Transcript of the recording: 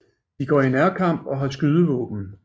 De går i nærkamp og har skydevåden